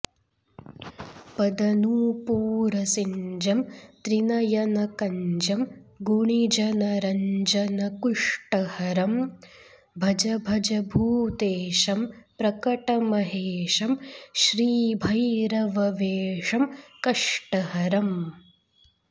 पदनूपूरसिञ्जं त्रिनयनकञ्जं गुणिजनरञ्जन कुष्टहरं भज भज भूतेशं प्रकटमहेशं श्रीभैरववेषं कष्टहरम्